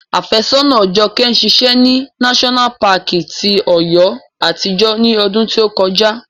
Afésọ́nàa Jọkẹ́ ṣiṣẹ́ ní náṣọ́nà paàkì ti Ọ̀yọ́ àtijọ́ ní ọdún tí ó kọjá